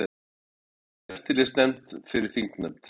Vilja eftirlitsnefnd fyrir þingnefnd